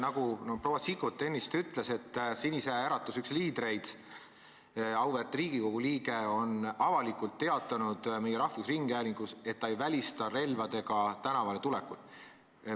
Nagu proua Sikkut ennist ütles, üks Sinise Äratuse liidreid, auväärt Riigikogu liige on avalikult meie rahvusringhäälingus teatanud, et ta ei välista relvadega tänavale tulekut.